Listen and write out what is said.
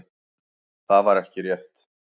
Það væri ekki rétt.